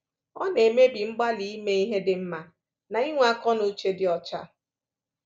Ọ na-emebi mgbalị ime ihe dị mma na inwe akọ na uche dị ọcha.